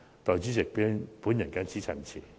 代理主席，我謹此陳辭。